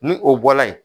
Ni o bɔla yen